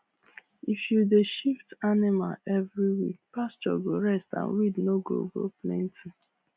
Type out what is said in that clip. if you dey shift animal every week pasture go rest and weed no go go plenty